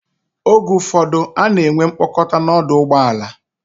Oge ụfọdụ, ana enwe mkpakọta n'ọdụ ụgbọ ala.